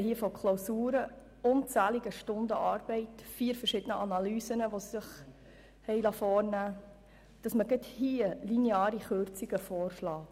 Wir sprechen hier von Klausuren, von unzähligen Stunden Arbeit sowie von vier verschiedenen Analysen, die ausgearbeitet worden sind.